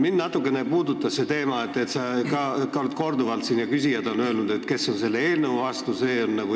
Mind natukene puudutab see teema, et sina oled siin korduvalt ja ka küsijad on öelnud, et need, kes on selle eelnõu vastu, on eestluse vastu.